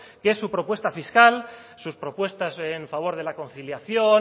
que es su propuesta fiscal sus propuestas en favor de la conciliación